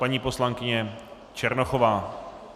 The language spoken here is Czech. Paní poslankyně Černochová.